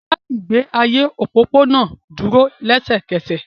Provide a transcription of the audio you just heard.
Dá ìgbé ayé òpópónà dúró lẹ́sẹ̀kẹsẹ̀